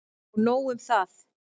Og nóg um það!